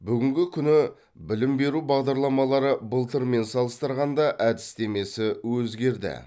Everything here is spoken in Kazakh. бүгінгі күні білім беру бағдарламалары былтырмен салыстырғанда әдістемесі өзгерді